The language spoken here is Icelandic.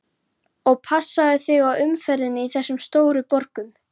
Og passaðu þig á umferðinni í þessum stóru borgum.